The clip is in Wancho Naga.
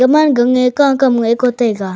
man gang a ka kam neg ngo taiga.